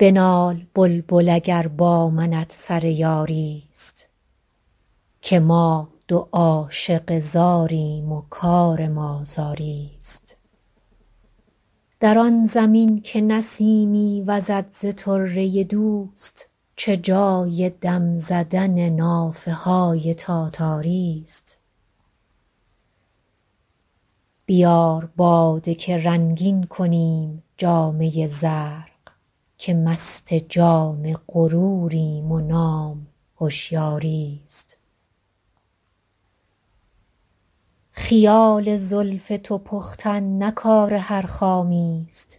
بنال بلبل اگر با منت سر یاری ست که ما دو عاشق زاریم و کار ما زاری ست در آن زمین که نسیمی وزد ز طره دوست چه جای دم زدن نافه های تاتاری ست بیار باده که رنگین کنیم جامه زرق که مست جام غروریم و نام هشیاری ست خیال زلف تو پختن نه کار هر خامی ست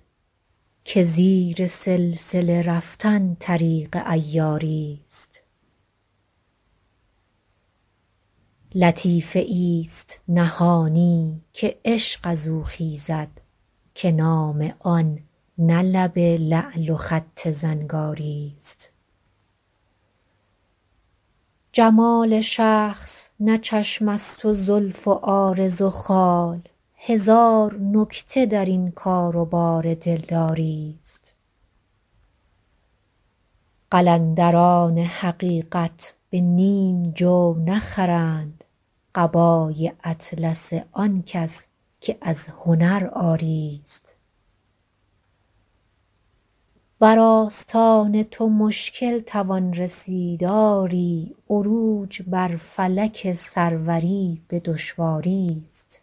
که زیر سلسله رفتن طریق عیاری ست لطیفه ای ست نهانی که عشق از او خیزد که نام آن نه لب لعل و خط زنگاری ست جمال شخص نه چشم است و زلف و عارض و خال هزار نکته در این کار و بار دلداری ست قلندران حقیقت به نیم جو نخرند قبای اطلس آن کس که از هنر عاری ست بر آستان تو مشکل توان رسید آری عروج بر فلک سروری به دشواری ست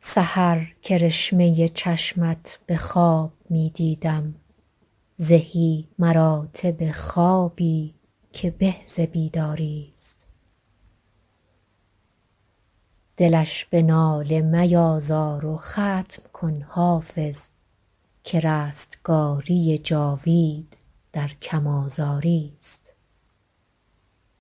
سحر کرشمه چشمت به خواب می دیدم زهی مراتب خوابی که به ز بیداری ست دلش به ناله میازار و ختم کن حافظ که رستگاری جاوید در کم آزاری ست